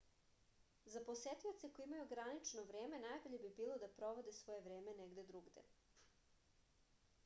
za posetioce koji imaju ograničeno vreme najbolje bi bilo da provode svoje vreme negde drugde